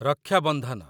ରକ୍ଷା ବନ୍ଧନ